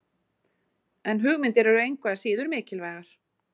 En hugmyndir eru engu að síður mikilvægar.